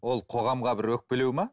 ол қоғамға бір өкпелеу ме